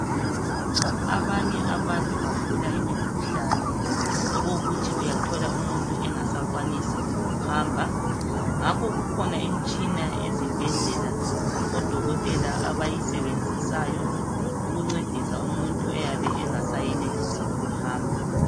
Abanye abantu bagula imikhuhlane okokuthi uyathola umuntu engasakwanisi ukuhamba ngakho kukhona imitshina ezibhedlela odokotela abayisebenzisayo ukuncedisa umuntu oyabe engasayenelisi ukuhamba.